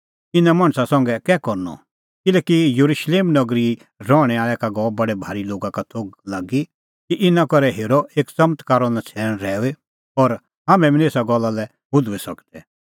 इना मणछा संघै कै करनअ किल्हैकि येरुशलेम नगरीए रहणैं आल़ै का गअ बडै भारी लोगा का थोघ लागी कि इना करै हेरअ एक च़मत्कारो नछ़ैण रहैऊई और हाम्हैं बी निं एसा गल्ला लै हुधूई सकदै